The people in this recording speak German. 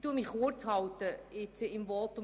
Ich halte mein Votum kurz.